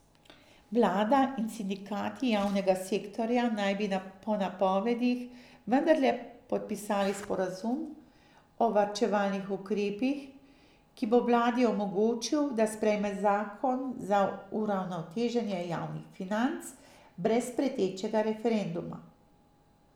Vlada in sindikati javnega sektorja naj bi po napovedih vendarle podpisali sporazum o varčevalnih ukrepih, ki bo vladi omogočil, da sprejme zakon za uravnoteženje javnih financ brez pretečega referenduma.